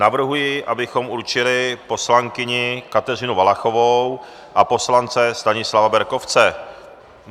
Navrhuji, abychom určili poslankyni Kateřinu Valachovou a poslance Stanislava Berkovce.